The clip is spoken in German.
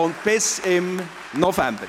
Bis im November!